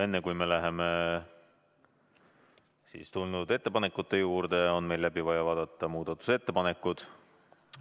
Enne kui me läheme esitatud ettepanekute juurde, on meil läbi vaja vaadata muudatusettepanekud.